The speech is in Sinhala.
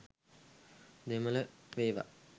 දෙමල වේවා